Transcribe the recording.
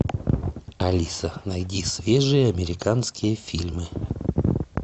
алиса найди свежие американские фильмы